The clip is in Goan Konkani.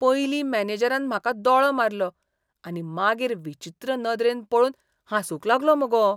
पयलीं मॅनेजरान म्हाका दोळो मारलो आनी मागीर विचित्र नदरेन पळोवन हांसूंक लागलो मुगो.